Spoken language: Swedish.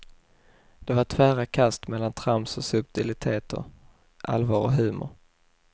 Det var tvära kast mellan trams och subtiliteter, allvar och humor.